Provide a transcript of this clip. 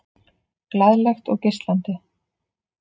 Glaðlegt og geislandi.